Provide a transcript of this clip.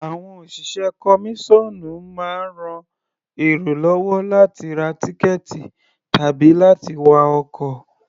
Àwọn òṣìṣẹ́ kọmíṣọ́ọ̀nù máa ń ran èrò lọ́wọ́ láti ra tíkẹ̀ẹ̀tì tàbí láti wá ọkọ̀.